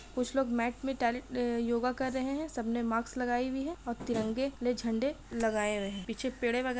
कुछ लोग मैट में टैल अ योगा कर रहे है सबने मास्क लगाई हुई है और तिरंगे ले झंडे लगाए हुए है पीछे पेड़े वगैरा --